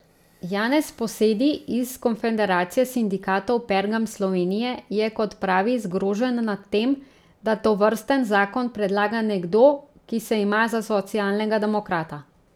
Janez Posedi iz Konfederacije sindikatov Pergam Slovenije je, kot pravi, zgrožen nad tem, da tovrsten zakon predlaga nekdo, ki se ima za socialnega demokrata.